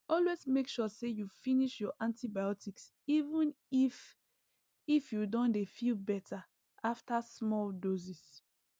always make sure say you finish your antibiotics even if if you don dey feel better after small doses